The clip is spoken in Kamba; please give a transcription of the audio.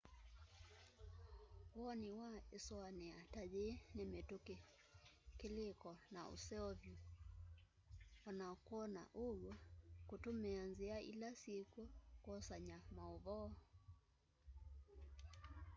woni wa ĩsũanĩa ta yĩĩ nĩ mĩtũkĩ kĩlĩĩko na ũseo vyũ o na kwona ũw'o kũtũmĩa nthĩa ila syĩkw'o kwosanya maũvoo